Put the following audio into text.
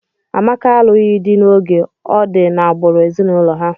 Amaka alụghị di n'oge, ọ di n'agbụrụ ezinụlọ ha.